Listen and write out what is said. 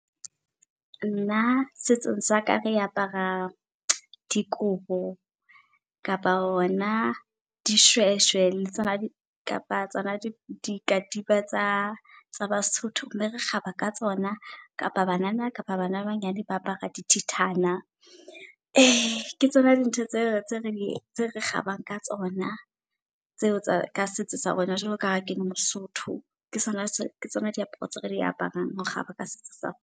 Nna setsong saka re apara dikobo kapa hona dishweshwe. Le tsona kapa tsona dikatiba tsa tsa baSotho, mme re kgaba ka tsona. Kapa banana kapa bana ba banyane ba apara dithethana. Ke tsona dintho tseo tse tse re kgabang ka tsona, tseo tsa ka setso sa rona jwalo kaha kele moSotho. Ke tsona ke tsona diaparo tseo re di aparang kgaba ka setso sa rona.